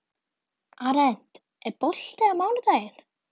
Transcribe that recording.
Arent, er bolti á mánudaginn?